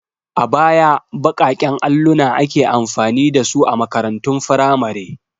A baya baƙaƙen alluna ake amfani da su a makarantun firamare.